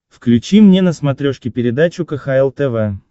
включи мне на смотрешке передачу кхл тв